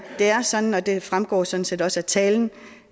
det er sådan og det fremgår sådan set også af min tale